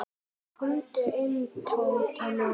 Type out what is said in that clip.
Komdu inn, Tóti minn.